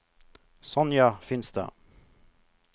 Sonja Finstad